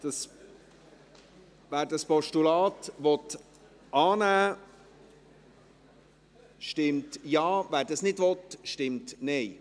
Wer das Postulat annehmen will, stimmt Ja, wer dies nicht will, stimmt Nein.